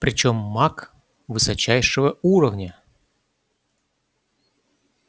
причём маг высочайшего уровня